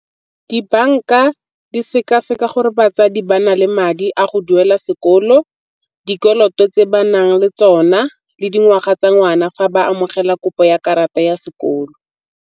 Dibanka di seka-seka gore batsadi ba na le madi a go duela sekolo, dikoloto tse ba nang le tsona le dingwaga tsa ngwana fa ba amogela kopo ya karata ya sekolo.